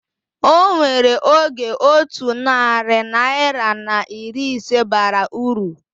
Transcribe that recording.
Onwere oge otu narị naira na iri ise bara uru